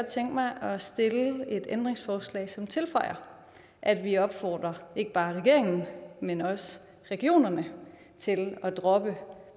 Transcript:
tænke mig at stille et ændringsforslag som tilføjer at vi opfordrer ikke bare regeringen men også regionerne til at droppe